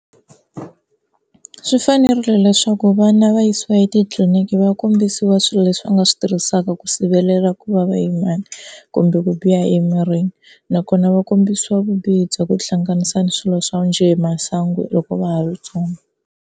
Swi fanerile leswaku vana va yisiwa etitliliniki va kombisiwa swilo leswi va nga swi tirhisaka ku sivelela ku va va yimani kumbe ku biha emirini, nakona va kombisiwa vubihi bya ku tihlanganisa na swilo swo njhe hi masangu loko va ha ri ntsongo.